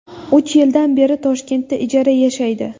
Uch yildan beri Toshkentda ijara yashaydi.